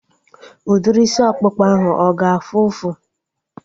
Udiri isi ọkpụkpa ahu a ga-afụ ụfụ?